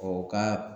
O ka